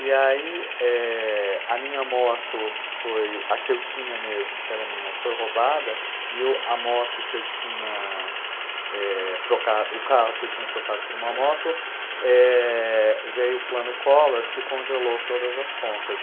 E aí, eh, a minha moto foi, a que eu tinha mesmo, que era minha, foi roubada e eu e a moto que eu tinha, eh, trocado, o carro que eu tinha trocado por uma moto, eh, veio o plano Collor, que congelou todas as contas.